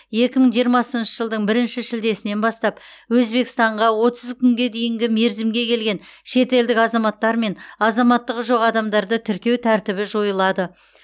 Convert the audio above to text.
екі мың жиырмасыншы жылдың бірінші шілдесінен бастап өзбекстанға отыз күнге дейінгі мерзімге келген шетелдік азаматтар мен азаматтығы жоқ адамдарды тіркеу тәртібі жойылады